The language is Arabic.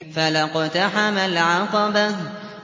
فَلَا اقْتَحَمَ الْعَقَبَةَ